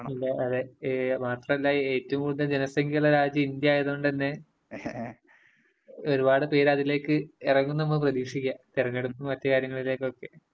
അതെ, മാത്രമല്ല ഏറ്റവും കൂടുതൽ ജനസംഖ്യയുള്ള രാജ്യം ഇന്ത്യ ആയത് കൊണ്ടുതന്നെ ഒരുപാട് പേര് അതിലേക്ക് ഇറങ്ങും എന്ന് നമുക്ക് പ്രതീക്ഷിക്കാം. തെരഞ്ഞെടുപ്പും മറ്റ് കാര്യങ്ങളിലേക്കും ഒക്കെ.